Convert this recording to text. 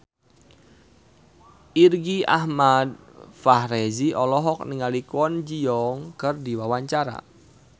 Irgi Ahmad Fahrezi olohok ningali Kwon Ji Yong keur diwawancara